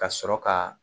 Ka sɔrɔ ka